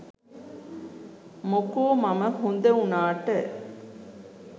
මොකෝ මම හොඳ උනාට.